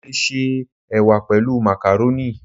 Mo lè se Ẹ̀wà pẹ̀lú màkàrónì.